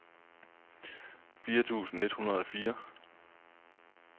fire tusind et hundrede og fire